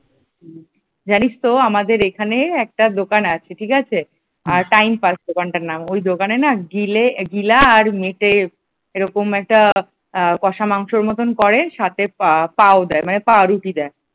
জানিস তো আমাদের এখানে একটা দোকান আছে ঠিক আছে, টাইম পাস দোকানটার নাম। ওই দোকানে না গিলে গিলা আর মেটে এরকম একটা কষা মাংসের মতন করে। সাথে পাও দেয় মানে পাও রুটি দেয় ।